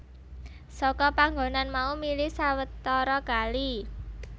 Saka panggonan mau mili sawetara kali